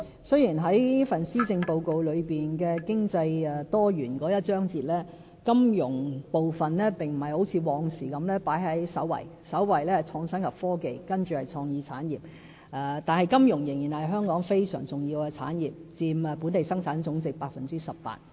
雖然在施政報告"多元經濟"的章節裏，"金融"並不如以往般放在首位——首位是"創新及科技"，接着是"創意產業"——但金融仍然是香港非常重要的產業，佔本地生產總值 18%。